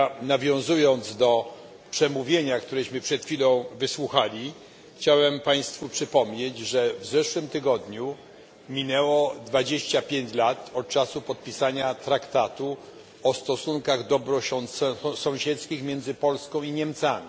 Nawiązując do przemówienia, którego przed chwilą wysłuchaliśmy, chciałem Państwu przypomnieć, że w zeszłym tygodniu minęło dwadzieścia pięć lat od czasu podpisania traktatu o stosunkach dobrosąsiedzkich między Polską i Niemcami.